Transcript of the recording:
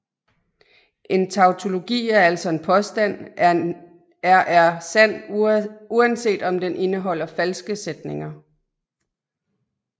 En tautologi er altså en påstand er er sand uanset om den indeholder falske sætninger